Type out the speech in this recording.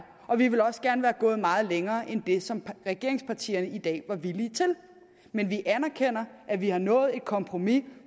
og vi ville også gerne være gået meget længere end det som regeringspartierne i dag er villige til men vi anerkender at vi har nået et kompromis